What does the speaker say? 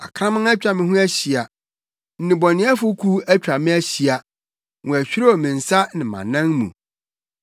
Akraman atwa me ho ahyia, nnebɔneyɛfo kuw atwa me ahyia, wɔahwirew me nsa ne mʼanan mu.